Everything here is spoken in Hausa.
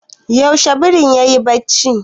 Yaushe birin yayi barci?